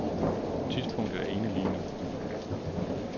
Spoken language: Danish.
Tidspunktet er inde lige nu.